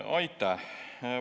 Aitäh!